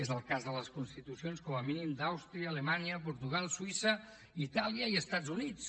és el cas de les constitucions com a mínim d’àustria alemanya portugal suïssa itàlia i els estats units